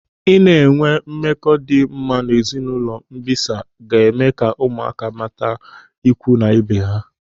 Ịna enwee mmekọ dị mma n'ezinụlọ mbịsa ga-eme ka ụmụaka mata ikwu na ibe ha.